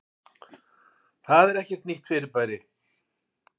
Það er ekkert nýtt fyrirbæri.